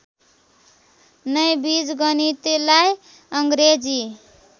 नै बीजगणितलाई अङ्ग्रेजी